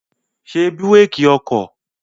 Ṣé búrékì ọkọ̀!